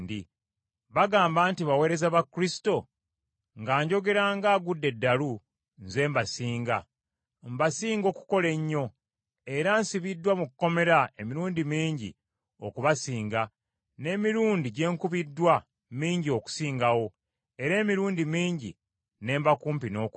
Bagamba nti baweereza ba Kristo? Nga njogera ng’agudde eddalu, nze mbasinga; Mbasinga okukola ennyo, era nsibiddwa mu kkomera emirundi mingi okubasinga, n’emirundi gye nkubiddwa mingi okusingawo, era emirundi mingi ne mba kumpi n’okufa.